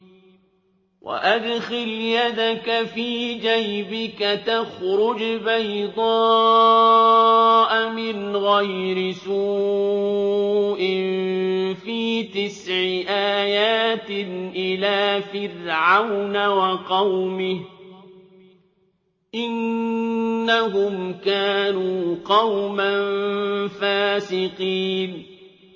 وَأَدْخِلْ يَدَكَ فِي جَيْبِكَ تَخْرُجْ بَيْضَاءَ مِنْ غَيْرِ سُوءٍ ۖ فِي تِسْعِ آيَاتٍ إِلَىٰ فِرْعَوْنَ وَقَوْمِهِ ۚ إِنَّهُمْ كَانُوا قَوْمًا فَاسِقِينَ